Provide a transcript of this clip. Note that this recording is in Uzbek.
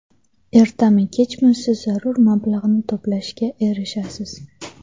Ertami-kechmi siz zarur mablag‘ni to‘plashga erishasiz.